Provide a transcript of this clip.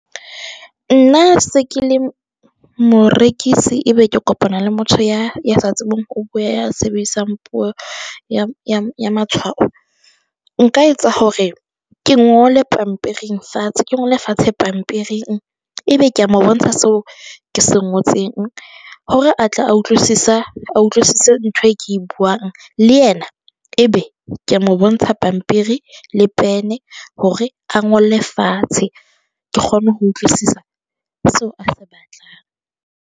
Nna se ke le morekisi e be ke kopana le motho ya, ya sa tsebeng ho bua. Ya sebedisang puo ya ya ya matshwao nka etsa hore ke ngole pampiring fatshe, ke ngole fatshe pampiring. E be ke a mo bontsha seo ke se ngotseng hore a tle a utlwisise, a utlwisise ntho e ke e buang le yena, e be ke a mo bontsha pampiri le pene hore a ngole fatshe ke kgone ho utlwisisa seo a se batlang.